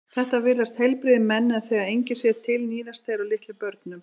Þetta virðast heilbrigðir menn en þegar enginn sér til níðast þeir á litlum börnum.